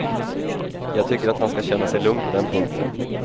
Jag tycker att han skall känna sig lugn på den punkten.